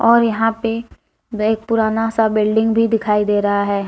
और यहां पे बहुत पुराना सा बिल्डिंग भी दिखाई दे रहा है।